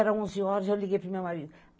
Eram onze horas, eu liguei para o meu marido.